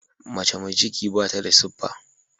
Mace mai ciki bata da siffa.